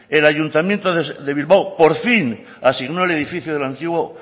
el ayuntamiento de bilbao por fin asignó el edificio del antiguo